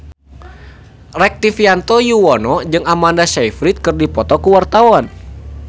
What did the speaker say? Rektivianto Yoewono jeung Amanda Sayfried keur dipoto ku wartawan